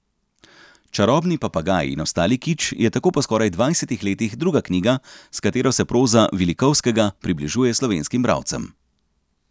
Čarobni papagaj in ostali kič je tako po skoraj dvajsetih letih druga knjiga, s katero se proza Vilikovskega približuje slovenskim bralcem.